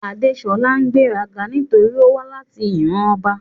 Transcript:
Adeṣọla ń ṣegberaga notori owa lati iran ọba